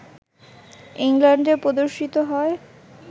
ইংল্যান্ডে প্রদর্শিত হয়